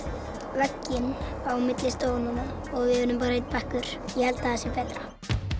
veggurinn á milli stofanna við erum bara einn bekkur ég held það sé betra